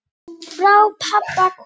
Frá pabba komið.